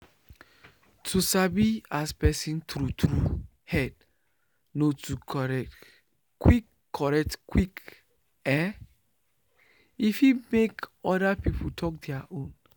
to sabi as person true true head no too correct quick correct quick eh e fit make oda people talk their own